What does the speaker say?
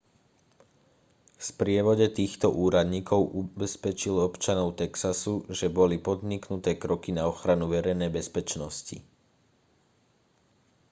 v sprievode týchto úradníkov ubezpečil občanov texasu že boli podniknuté kroky na ochranu verejnej bezpečnosti